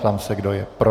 Ptám se, kdo je pro.